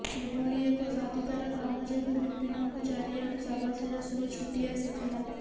ଏଭଳି ଏକ ସାଧୁତାର କାମ ଯୋଗୁଁ ବିପିନଙ୍କୁ ଚାରିଆଡୁ ସାବାସିର ସୁଅ ଛୁଟି ଆସିଥିଲା